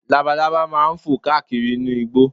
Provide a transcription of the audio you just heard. Labalábá máa fò káàkiri inú igbó